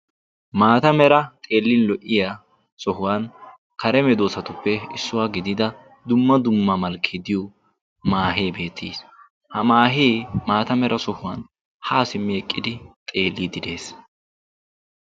Maata Mera xeellin lo'iya sohuwan kare medoossattuppe issuwa gidida dumma dumma malkkee diyo maahee beettees. Ha maahee maata Mera sohuwan haa simmi eqqidi xeellidi de'es.